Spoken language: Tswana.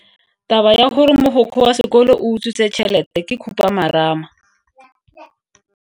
Taba ya gore mogokgo wa sekolo o utswitse tšhelete ke khupamarama.